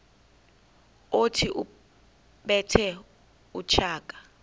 othi ubethe utshaka